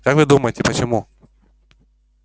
как вы думаете почему